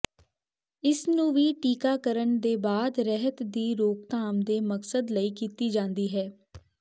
ਇਸ ਨੂੰ ਵੀ ਟੀਕਾਕਰਣ ਦੇ ਬਾਅਦ ਰਹਿਤ ਦੀ ਰੋਕਥਾਮ ਦੇ ਮਕਸਦ ਲਈ ਕੀਤੀ ਜਾਦੀ ਹੈ